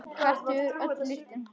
Hvert hefur öll lyktin horfið?